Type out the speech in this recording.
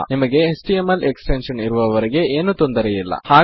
ನಿಮಗೆ HTML extension ಇರುವ ವರೆಗೆ ಏನು ತೊಂದರೆ ಇಲ್ಲ